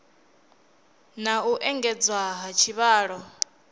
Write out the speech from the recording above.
na u engedzwa ha tshivhalo